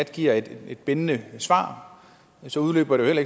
giver et bindende svar så udløber det